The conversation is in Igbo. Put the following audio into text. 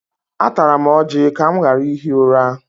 Atara m ọjị ka m ghara ihi ụra.